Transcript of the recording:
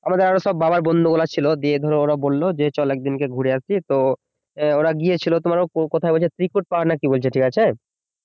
আমাদের আরো সব বাবার বন্ধুগুলা ছিল দিয়ে ধরো ওরা বললো যে চল একদিন কে ঘুরে আসি তো ওরা গিয়েছিল তোমার কোথায় বলছে ত্রিকুট পাহাড় না কি বলছে ঠিক আছে